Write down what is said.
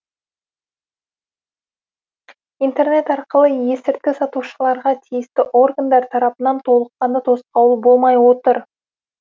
интернет арқылы есірткі сатушыларға тиісті органдар тарапынан толыққанды тосқауыл болмай отыр